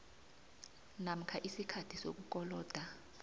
namkha isikhathi sokukoloda